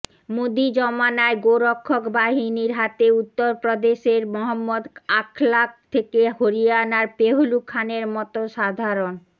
মোদী জমানায় গোরক্ষক বাহিনীর হাতে উত্তরপ্রদেশের মহম্মদ আখলাক থেকে হরিয়ানার পেহলু খানের মতো সাধারণ